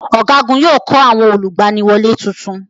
Ọ̀gágun yóò kọ́ àwọn olùgbaniwọlé tuntun.